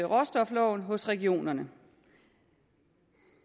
råstofloven hos regionerne